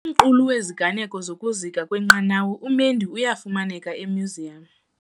Umqulu weziganeko zokuzika kwenqanawa uMendi uyafumaneka emyuziyamu.